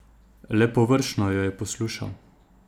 Le površno jo je poslušal.